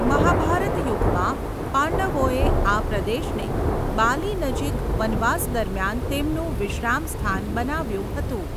મહાભારત યુગમાં, પાંડવોએ આ પ્રદેશને બાલી નજીક વનવાસ દરમિયાન તેમનું વિશ્રામસ્થાન બનાવ્યું હતું.